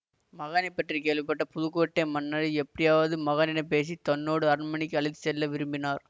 மகானைப் பற்றி கேள்விப்பட்ட புதுக்கோட்டை மன்னர் எப்படியாவது மகானிடம் பேசி தன்னோடு அரண்மனைக்கு அழைத்து செல்ல விரும்பினார்